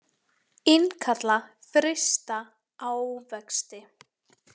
Innkalla frysta ávexti